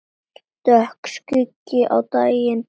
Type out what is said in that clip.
Dökkur skuggi á daginn fellur.